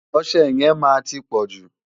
Ọṣẹ yẹn máa ti pọ̀jù.